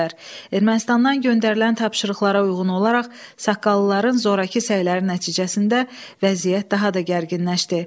Ermənistandan göndərilən tapşırıqlara uyğun olaraq saqqallıların zorakı səyləri nəticəsində vəziyyət daha da gərginləşdi.